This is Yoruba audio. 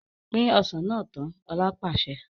Pin Ọsàn náà tán! Ọ̀la pàṣẹ.